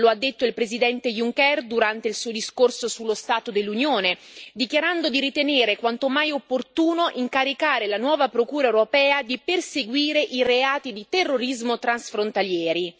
Lo ha detto il Presidente Juncker durante il suo discorso sullo Stato dell'Unione, dichiarando di ritenere quanto mai opportuno incaricare la nuova Procura europea di perseguire i reati di terrorismo transfrontalieri.